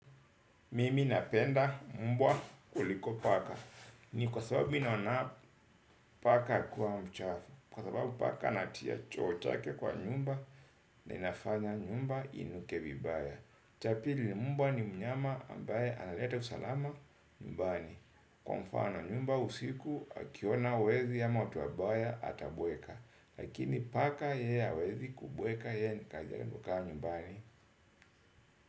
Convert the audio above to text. Mimi napenda mbwa kuliko paka ni kwa sababu mi naona paka kuwa mchafu. Kwa sababu paka anatia choo chake kwa nyumba na inafanya nyumba inuke vibaya. Cha pili mbwa ni mnyama ambaye analeta usalama nyumbani. Kwa mfano nyumba usiku akiona wezi ama watu wabaya atabweka. Lakini paka yeye hawezi kubweka yeye ni kazi yake ni kukaa nyumbani.